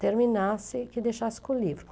terminasse, que deixasse com o livro.